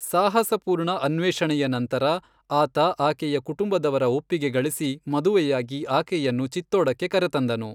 ಸಾಹಸಪೂರ್ಣ ಅನ್ವೇಷಣೆಯ ನಂತರ, ಆತ ಆಕೆಯ ಕುಟುಂಬದವರ ಒಪ್ಪಿಗೆ ಗಳಿಸಿ ಮದುವೆಯಾಗಿ ಆಕೆಯನ್ನು ಚಿತ್ತೋಡಕ್ಕೆ ಕರೆತಂದನು.